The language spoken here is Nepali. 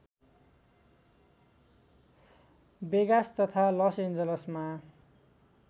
वेगास तथा लसएन्जलसमा